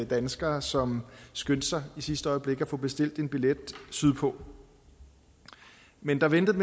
danskere som skyndte sig i sidste øjeblik at få bestilt en billet sydpå men der ventede